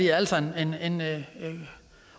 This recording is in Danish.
er altså en